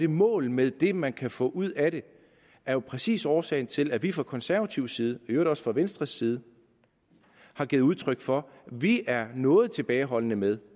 mål med det man kan få ud af det er jo præcis årsagen til at vi fra konservativ side i øvrigt også fra venstres side har givet udtryk for at vi er noget tilbageholdende med